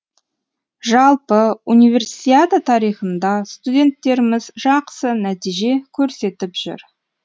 жалпы универсиада тарихында студенттеріміз жақсы нәтиже көрсетіп жүр